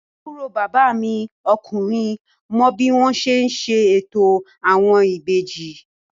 Àbúrò bàbá mi ọkùnrin mọ bí wọ́n ti ń ṣe ètò àwọn ìbejì